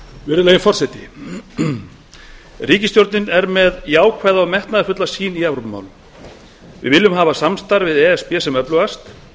virðulegi forseti ríkisstjórnin er með jákvæða og metnaðarfulla sýn í evrópumálum við viljum hafa samstarf við e s b sem öflugast